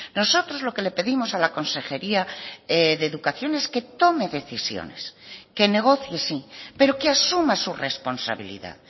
nosotros lo que le pedimos a la consejería de educación es que tome decisiones que negocie sí pero que asuma su responsabilidad